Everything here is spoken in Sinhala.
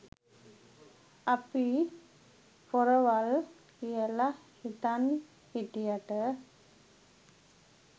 අපි පොරවල් කියල හිතන් හිටියට